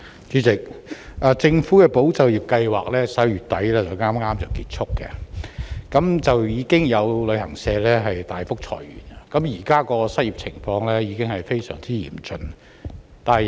主席，政府的"保就業"計劃剛在11月底結束，有旅行社大幅裁員，失業情況現已非常嚴峻。